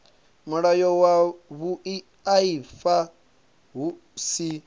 mulayo wa vhuaifa hu si